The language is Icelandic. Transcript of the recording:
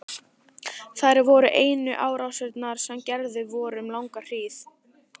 Þær voru einu árásirnar sem gerðar voru um langa hríð.